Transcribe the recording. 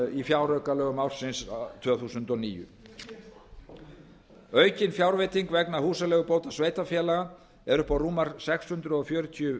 í fjáraukalögum ársins tvö þúsund og níu aukin fjárveiting vegna húsaleigubóta sveitarfélaga er upp á rúmar sex hundruð fjörutíu